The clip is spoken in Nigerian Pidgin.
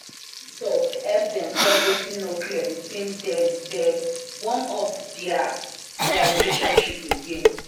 long phone talk help dem solve wetin no clear between dem dem warm up dia dia relationship again.